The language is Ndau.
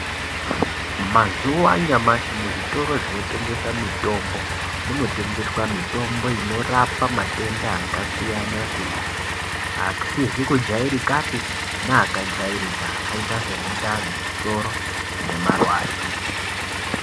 Mazuva anyamashi muzvitoro zvinotengeswe mitombo munotengeswa mitombo inorapa matenda akasiyana siyana akusizi kujairikapi neaka jairika akaita semundani, musoro nemarwadzo.